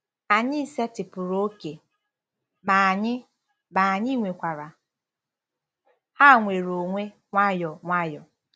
"Anyị setịpụrụ ókè, ma anyị, ma anyị nyekwara ha nnwere onwe, nwayọọ nwayọọ.